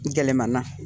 Gɛlɛmana